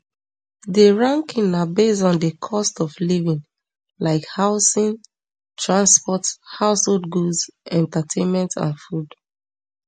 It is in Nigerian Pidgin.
di ranking na based on di cost of living like housing transport household goods entertainment and food